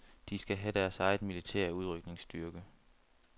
De skal have deres egen militære udrykningsstyrke.